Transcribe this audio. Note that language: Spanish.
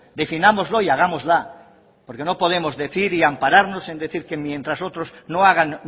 definámoslo y hagámosla porque no podemos decir y ampararnos en decir que mientras otros no hagan